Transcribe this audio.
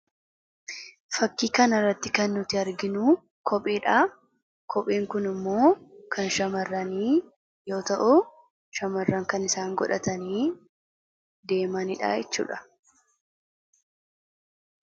Fakkii kana irratti kan nuti arginu, kopheedhaa. Kopheen Kun immoo kan shamaarranii yoo ta'u, shamarran kan isaan godhatanii deemanidha jechuudha.